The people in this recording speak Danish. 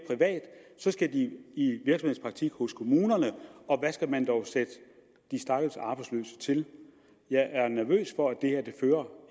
skal de i virksomhedspraktik hos kommunerne og hvad skal man dog sætte de stakkels arbejdsløse til jeg er nervøs for at det her